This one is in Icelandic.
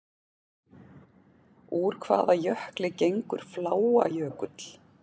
Úr hvaða jökli gengur Fláajökull?